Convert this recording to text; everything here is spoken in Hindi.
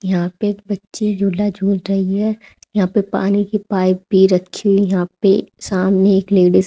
यहां पे एक बच्ची झूला झूल रही है यहां पर पानी की पाइप भी रखी है यहां पर सामने एक लेडिज --